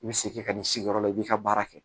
I bɛ segin ka n'i sigiyɔrɔ la i b'i ka baara kɛ